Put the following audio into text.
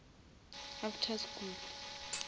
after school